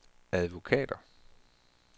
advokater